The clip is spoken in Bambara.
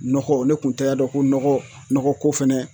Nɔgɔ ne kun tɛ y'a dɔn ko nɔgɔ ko fɛnɛ